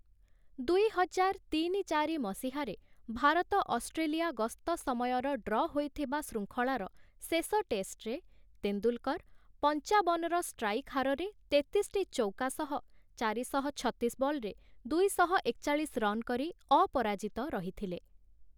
ଦୁଇ ହଜାର ତିନି-ଚାରି ମସିହାରେ ଭାରତ ଅଷ୍ଟ୍ରେଲିଆ ଗସ୍ତ ସମୟର ଡ୍ର ହୋଇଥିବା ଶୃଙ୍ଖଳାର ଶେଷ ଟେଷ୍ଟରେ, ତେନ୍ଦୁଲକର୍‌ ପଞ୍ଚାବନର ଷ୍ଟ୍ରାଇକ୍ ହାରରେ ତେତିଶଟି ଚୌକା ସହ ଚାରିଶହ ଛତିଶ ବଲରେ ଦୁଇଶହ ଏକଚାଳିଶ ରନ୍ କରି ଅପରାଜିତ ରହିଥିଲେ ।